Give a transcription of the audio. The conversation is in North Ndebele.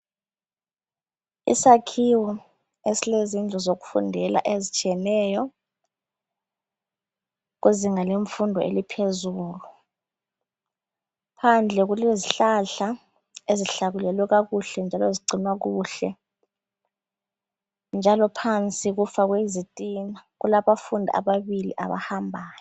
Isakhiwo esilezindlu zokufundela ezitshiyeneyo kwezinga lemfundo eliphezulu phandle kulezihlahla ezihlakulelwe kakuhle njalo zigcinwe kuhle njalo phansi kufakwe izitina kulaba fundi ababili abahambayo